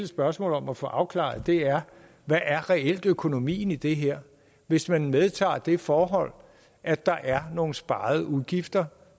spørgsmål om og få afklaret og det er hvad er reelt økonomien i det her hvis man medtager det forhold at der er nogle sparede udgifter